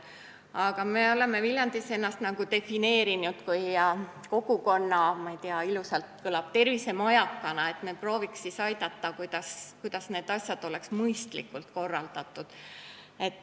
Aga me oleme Viljandis ennast nagu defineerinud kui kogukonna tervisemajakat – ilusasti kõlab –, st me prooviks aidata ja leida viisi, kuidas asjad oleks mõistlikult korraldatud.